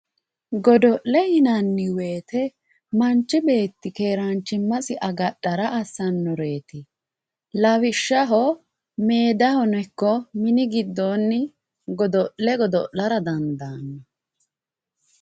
Godo'le yinanni woyte manchi beetti keeranchimasi agadhara assanoreti lawishshaho medahono ikko mini giddooni godo'le godo'lara dandaano.